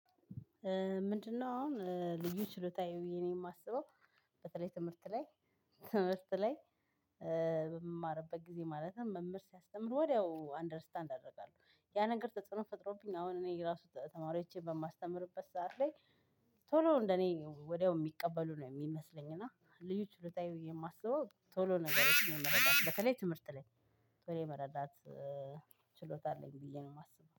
ምንድነው? አሁን ልዩ ችሎታየ ብየ እኔ የማስበው በተለይ ትምህርት ላይ ትምህርት ላይ በምማርበት ጊዜ ማለትም መምህር ሲያስተምር ወዲያው አንደርስታንድ አደርጋለው። ያ ነገር ተጽዕኖ ፈጥሮብኝ አሁን እኔ ራሱ ተማሪዎቼን በማስተምርበት ሰዓት ላይ። ቶሎ እንደ እኔ ወዲያው የሚቀበሉ ነው የሚመስለኝ እና ልዩ ችሎታዬ የማስበው ቶሎ ነገሮችን ነው መረዳት በተለይ ትምህርት ላይ ቶሎ መረዳት። ችሎታ አለኝ ብየ ነው እማስበው